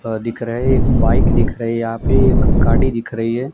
आ दिख रहे एक बाइक दिख रहे यहां पे एक गाड़ी दिख रही है।